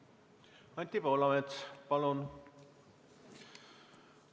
Anti Poolamets, palun!